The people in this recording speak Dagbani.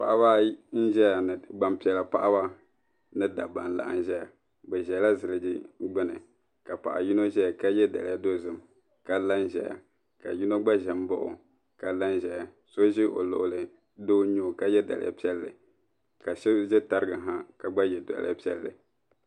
Paɣiba ayi n-ʒeya ni gbampiɛla paɣiba ni dabba n-laɣim ʒeya bɛ ʒela ziliji gbuni ka paɣa yino zaya ka ye daliya dozim ka la n-ʒeya ka yino gba za m-baɣi o ka la n-ʒeya so ʒe o luɣili doo n-nyɛ o doo n-nyɛ o ka ye daliya piɛlli ka so ʒe tariga ha ka gba ye daliya piɛlli.